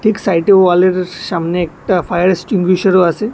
ঠিক সাইডে ওয়ালের সামনে একটা ফায়ার এক্সটিংগুইশারও আছে।